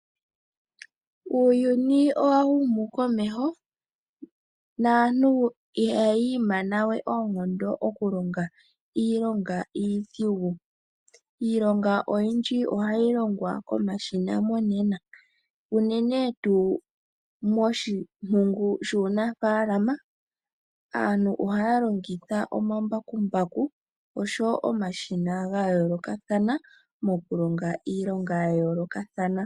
Uuyuni owa humu komeho naantu ihaya imanawe oonkondo nokulonga iilonga iidhigu. Iilonga oyindji monena ohayi komashina monena, uunene tuu moshikando shuunafaalama aantu ohaya longitha omambakumbaku oshowo omashina ga yooloka mokulonga iilonga ya yoolokothana